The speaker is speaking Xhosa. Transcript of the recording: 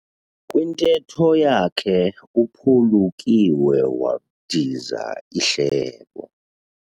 Kwintetho yakhe uphulukiwe wadiza ihlebo.